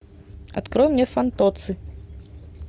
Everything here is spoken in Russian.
открой мне фантоцци